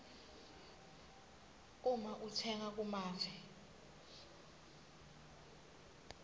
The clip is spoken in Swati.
uma utsenga kumave